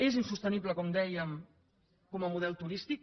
és insostenible com dèiem com a model turístic